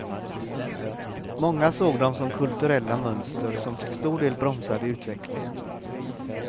Många såg dem som kulturella mönster som till stor del bromsade utvecklingen.